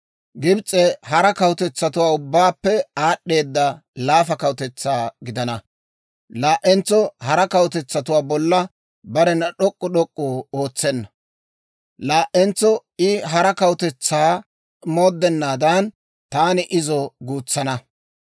Gibs'e hara kawutetsatuwaa ubbaappe aad'd'eeda laafa kawutetsaa gidana. Laa"entso hara kawutetsatuwaa bolla barena d'ok'k'u d'ok'k'u ootsenna. Laa"entso I hara kawutetsaa mooddennaadan, taani izo guutsana.